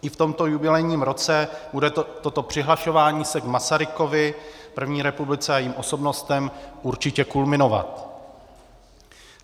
I v tomto jubilejním roce bude toto přihlašování se k Masarykovi, první republice a jejím osobnostem určitě kulminovat.